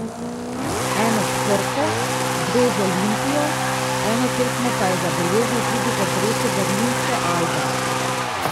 Eno s Krko, dve z Olimpijo, eno tekmo pa je zabeležil tudi v dresu berlinske Albe.